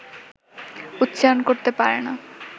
উচ্চারণ করতে পারে না